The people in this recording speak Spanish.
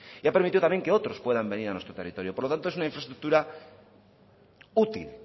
y ha permitido también que otros puedan venir a nuestro territorio por lo tanto es una infraestructura útil